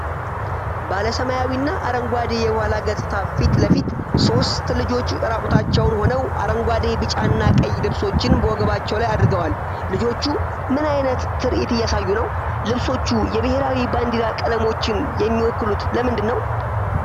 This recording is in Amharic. ባለ ሰማያዊና አረንጓዴ የኋላ ገጽታ ፊት ለፊት ሦስት ልጆች ራቁታቸውን ሆነው፣ አረንጓዴ፣ ቢጫና ቀይ ልብሶችን በወገባቸው ላይ አድርገዋል። ልጆቹ ምን ዓይነት ትርኢት እያሳዩ ነው? ልብሶቹ የብሔራዊ ባንዲራ ቀለሞችን የሚወክሉት ለምንድን ነው?